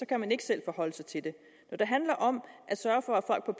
kan man ikke selv forholde sig til det når det handler om at sørge for at